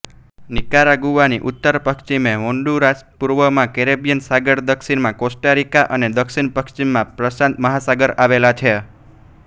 નિકારાગુઆની ઉત્તરપશ્ચિમે હોન્ડુરાસપુર્વમાં કેરેબિયન સાગર દક્ષિણમા કોસ્ટારિકા અને દક્ષિણપશ્ચિમમા પ્રશાંત મહાસાગર આવેલા છે